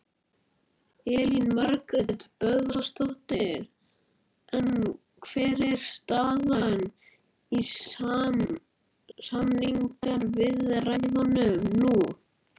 Elín Margrét Böðvarsdóttir: En hver er staðan í samningaviðræðunum nú?